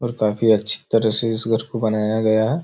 और काफी अच्छी तरह से इस घर को बनाया गया है।